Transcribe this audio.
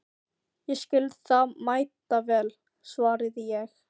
Ég skil það mæta vel, svaraði ég.